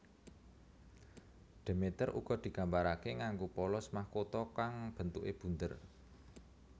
Demeter uga digambarake nganggo polos mahkota kang bentuke bunder